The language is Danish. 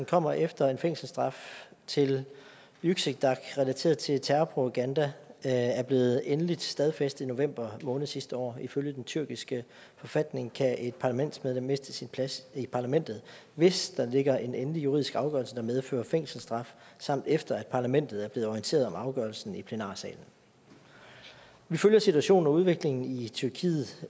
kommer efter at en fængselsstraf til yüksekdağ relateret til terror og propaganda er er blevet endeligt stadfæstet i november måned sidste år ifølge den tyrkiske forfatning kan et parlamentsmedlem miste sin plads i parlamentet hvis der ligger en endelig juridisk afgørelse der medfører fængselsstraf samt efter at parlamentet er blevet orienteret om afgørelsen i plenarsalen vi følger situationen og udviklingen i tyrkiet